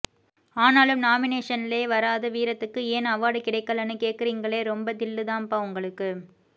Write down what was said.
ஆனாலும் நாமினேஷன்லயே வராத வீரத்துக்கு ஏன் அவார்ட் கிடைக்கலனு கேக்குறீங்களே ரொம்ப தில்லு தான்பா உங்களுக்கு